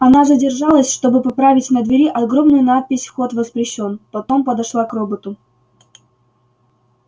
она задержалась чтобы поправить на двери огромную надпись вход воспрещён потом подошла к роботу